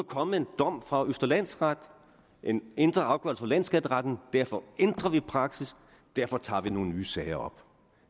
kommet en dom fra østre landsret og en ændret afgørelse fra landsskatteretten derfor ændrer vi praksis og derfor tager vi nogle nye sager op